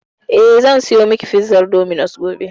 Eh, zan saya miki pizar dominos gobe.